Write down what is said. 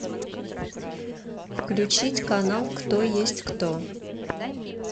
включить канал кто есть кто